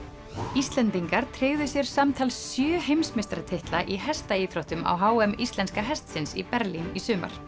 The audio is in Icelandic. Íslendingar tryggðu sér samtals sjö heimsmeistaratitla í hestaíþróttum á h m íslenska hestsins í Berlín í sumar